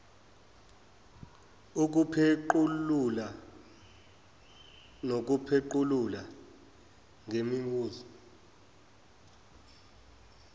ukupheqululwa nokuphequlula ngemibuzo